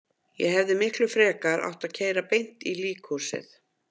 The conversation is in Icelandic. Ég hefði miklu frekar átt að keyra beint í líkhúsið.